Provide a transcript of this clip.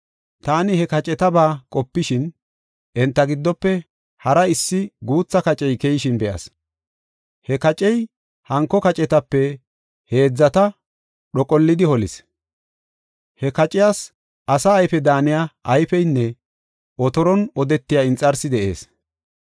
Taani he kacetaba qopishin, enta giddofe hara issi guutha kacey keyishin be7as. He kacey hanko kacetape heedzata dhoqollidi holis. He qaciyas asa ayfe daaniya ayfeynne otoron odetiya inxarsi de7ees.